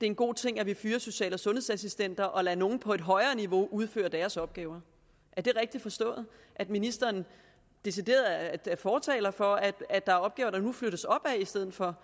en god ting at vi fyrer social og sundhedsassistenter og lader nogle på et højere niveau udføre deres opgaver er det rigtigt forstået at ministeren decideret er fortaler for at at der er opgaver der nu flyttes opad i stedet for